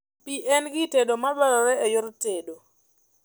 Pii en gir tedo madwarore e yor tedo